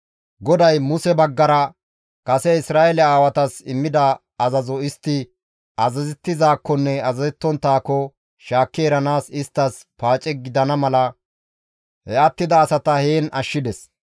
GODAY Muse baggara kase Isra7eele aawatas immida azazo istti azazettizaakkonne azazettonttaako shaakki eranaas isttas paace gidana mala he attida asata heen ashshides.